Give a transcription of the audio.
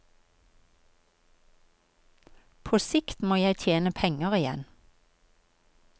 På sikt må jeg tjene penger igjen.